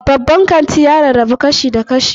Babban kanti ya rarrabu kashi-kashi.